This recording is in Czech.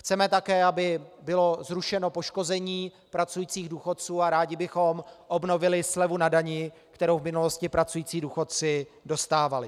Chceme také, aby bylo zrušeno poškození pracujících důchodců, a rádi bychom obnovili slevu na dani, kterou v minulosti pracující důchodci dostávali.